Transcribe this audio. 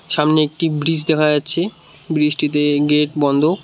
সামনে একটি ব্রিজ দেখা যাচ্ছে ব্রিজ টিতে গেট বন্ধ।